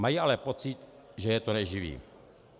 Mají ale pocit, že je to neživí.